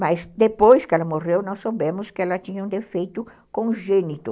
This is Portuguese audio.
Mas depois que ela morreu, nós soubemos que ela tinha um defeito congênito.